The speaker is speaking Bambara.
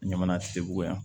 Ɲamana segu yan